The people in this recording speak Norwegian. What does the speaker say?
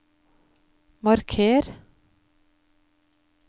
marker